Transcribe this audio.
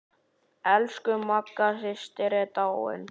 Elsku Magga systir er dáin.